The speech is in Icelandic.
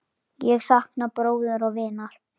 Ég sakna bróður og vinar.